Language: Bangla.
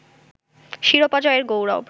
শিরোপা জয়ের গৌরব